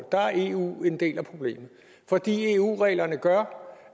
er eu en del af problemet fordi eu reglerne gør